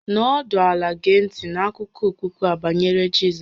Nọdụ ala gee ntị n'akụkọ okpukpe a banyere Jizọs